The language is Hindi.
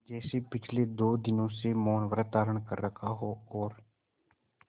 जैसे पिछले दो दिनों से मौनव्रत धारण कर रखा हो और